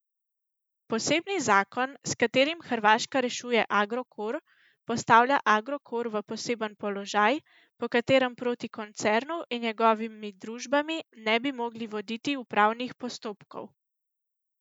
Posebni zakon, s katerim Hrvaška rešuje Agrokor, postavlja Agrokor v poseben položaj, po katerem proti koncernu in njegovimi družbami ne bi mogli voditi upravnih postopkov.